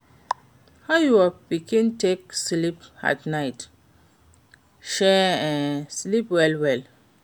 How your pikin take sleep for night? Shey en sleep well well?